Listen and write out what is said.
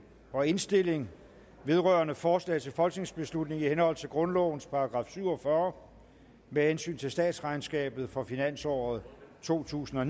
og indstilling vedrørende forslag til folketingsbeslutning i henhold til grundlovens § syv og fyrre med hensyn til statsregnskabet for finansåret totusinde og